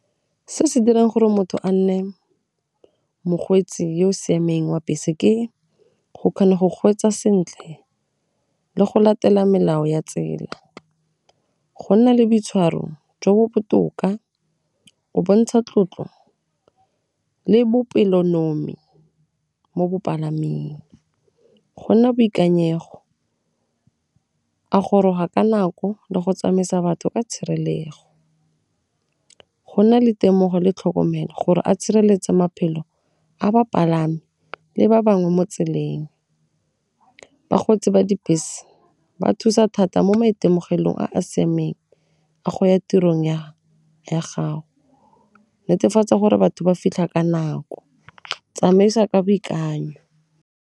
Se se dirang gore motho a nne mokgweetsi yo o siameng wa bese, ke go kgona go kgweetsa sentle, le go latela melao ya tsela, go nna le boitshwaro jo bo botoka, o bontsha tlotlo le bopelonomi mo bopalaming , go nna boikanyego, a goroga ka nako le go tsamaisa batho ka tshirelego go nna le temogo le tlhokomelo gore a tshireletse maphelo a bapalami le ba bangwe mo tseleng. Bakgweetsi ba dibese ba thusa thata mo maitemogelong a a siameng a go ya tirong ya gago, netefatsa gore batho ba fitlha ka nako, tsamaisa ka boikanyo.